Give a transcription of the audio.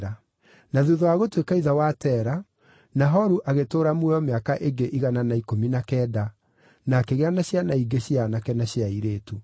Na thuutha wa gũtuĩka ithe wa Tera, Nahoru agĩtũũra muoyo mĩaka ĩngĩ igana na ikũmi na kenda, na akĩgĩa na ciana ingĩ cia aanake na cia airĩtu.